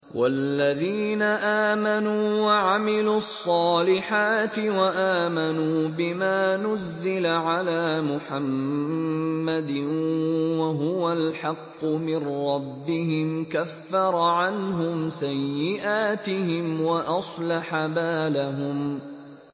وَالَّذِينَ آمَنُوا وَعَمِلُوا الصَّالِحَاتِ وَآمَنُوا بِمَا نُزِّلَ عَلَىٰ مُحَمَّدٍ وَهُوَ الْحَقُّ مِن رَّبِّهِمْ ۙ كَفَّرَ عَنْهُمْ سَيِّئَاتِهِمْ وَأَصْلَحَ بَالَهُمْ